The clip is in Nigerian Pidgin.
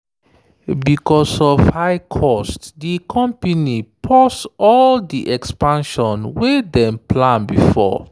because of high cost di company pause all di expansion wey dem plan before.